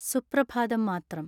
സുപ്രഭാതം മാത്രം